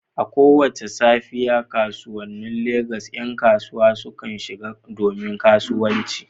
A kowace safiya, kasuwannin Legas ƴan kasuwa sukan shigo domin kasuwanci.